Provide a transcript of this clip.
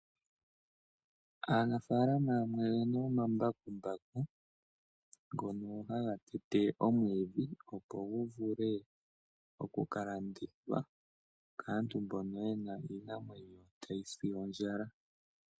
Aanafaalama yamwe oyena omambakumbaku ngono haga tete omwiidhi opo gu vule okukalandithwa po kaantu mboka yena iinamwenyo tayi si ondjala.